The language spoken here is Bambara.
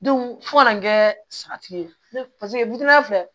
fo ka na kɛ salati ye paseke filɛ